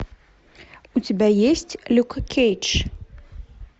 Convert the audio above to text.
у тебя есть люк кейдж